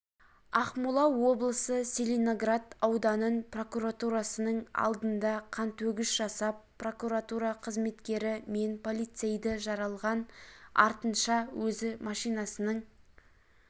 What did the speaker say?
ақмола облысы целиноград ауданын прокуратурасының алдында қантөгіс жасап прокуратура қызметкері мен полицейді жаралған артынша өзі машинасының